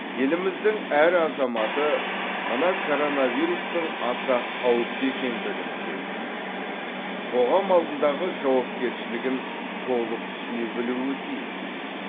еліміздің әр азаматы мына коронавирустың аса қауіпті екендігін сезініп қоғам алдындағы жауапкершілігін толық түсіне білуі тиіс